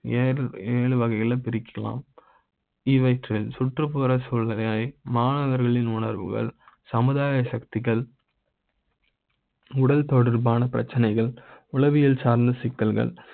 என ஏழு வகை யாக பிரிக்க லாம். இவற்றில்சுற்றுப்புற சூழ்நிலை யே மாணவர்களின் உணர்வுகள் சமுதாய சக்திகள் உடல் தொடர்பான பிரச்சினைகள், உளவியல் சார்ந்த சிக்கல்கள